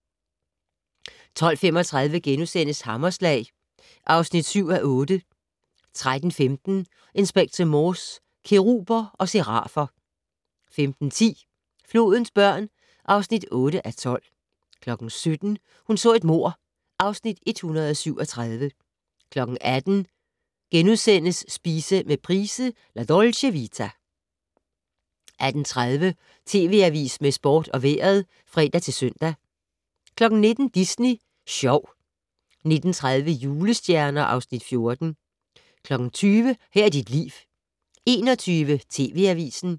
12:35: Hammerslag (7:8)* 13:15: Inspector Morse: Keruber og serafer 15:10: Flodens børn (8:12) 17:00: Hun så et mord (Afs. 137) 18:00: Spise med Price - La Dolce Vita * 18:30: TV Avisen med sport og vejret (fre-søn) 19:00: Disney Sjov 19:30: Julestjerner (Afs. 14) 20:00: Her er dit liv 21:00: TV Avisen